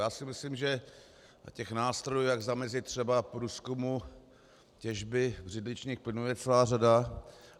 Já si myslím, že těch nástrojů, jak zamezit třeba průzkumu těžby břidličných plynů, je celá řada.